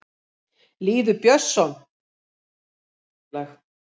Lýður Björnsson: Íslands hlutafélag.